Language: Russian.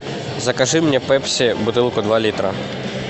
закажи мне пепси бутылку два литра